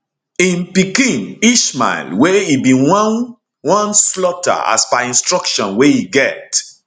im pikin ismael wey e bin wan wan slaughter as per instruction wey e get